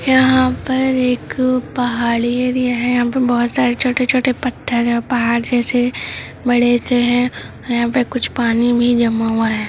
यहाँ पर एक पहाड़ी एरिया है यहाँ पर बहुत सारे छोटे-छोटे पथर है पहाड़ जेसे बड़े से है यहाँ पर कुछ पानी भी जमा हुआ है।